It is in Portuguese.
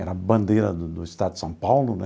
Era a bandeira do do Estado de São Paulo né.